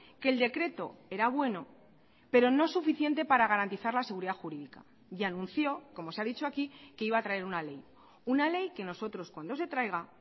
que el decreto era bueno pero no suficiente para garantizar la seguridad jurídica y anunció como se ha dicho aquí que iba a traer una ley una ley que nosotros cuando se traiga